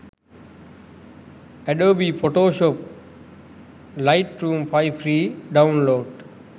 adobe photoshop lightroom 5 free download